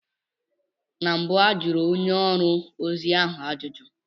Na mbụ a jụrụ onye ọrụ ozi ahụ ajụjụ.